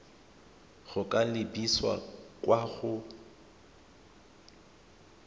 go ka lebisa kwa go